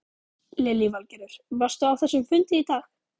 Lillý Valgerður: Varstu á þessum fundi í dag?